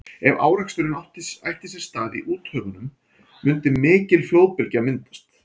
ef áreksturinn ætti sér stað í úthöfunum mundi mikil flóðbylgja myndast